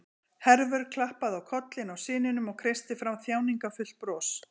Hervör klappaði á kollinn á syninum og kreisti fram þjáningarfullt bros.